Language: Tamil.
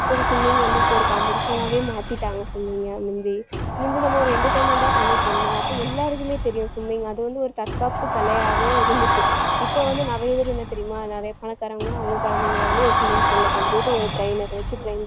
இப்ப ஒரு competition ஆவே மாத்திட்டாங்க சொன்னீங்க மிந்தி, மிந்தி நம்ம ஒரு entertainment ஆ பண்ணிட்டு இருந்தோம் அப்ப எல்லாருக்குமே தெரியும் swimming அது வந்து ஒரு தற்காப்பு கலையாகவும் இருந்துச்சு இப்ப வந்து நிறைய பேரு என்ன தெரியுமா நிறைய பணக்காரங்க அவங்க குழந்தைங்களை வந்து ஒரு swimming pool ல கொண்டு போயிட்டு ஒரு trainer வச்சு train